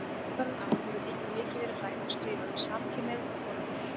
Undanfarin ár hefur líka mikið verið rætt og skrifað um samkynhneigð og hjónaband.